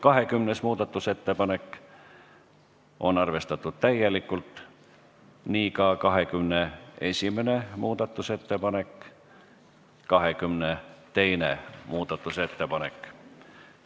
20. muudatusettepanek on arvestatud täielikult, nii ka 21. muudatusettepanek ja 22. muudatusettepanek.